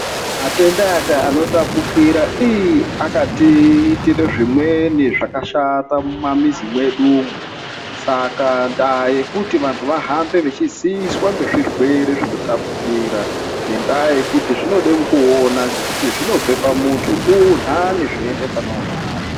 Matenda anotapukira akatiitire zvimweni zvakashata mumamizi mwedu umwo, ska ndaa yekuti vantu vahambe veiziviswa ngezvireere zvinotapukira ngendaa yekuti zvinoda kuona ngekuti zvinobva pamuntu unhare zvichienda paneunhare.